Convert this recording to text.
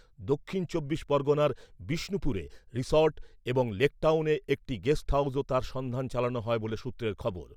দক্ষিণ চব্বিশ পরগণার বিষ্ণুপুরে রিসর্ট এবং লেক টাউনের একটি গেস্ট হাউসেও তাঁর সন্ধান চালানো হয় বলে সূত্রের খবর ।